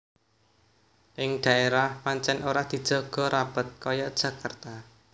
Ing daérah pancèn ora dijaga rapet kaya Jakarta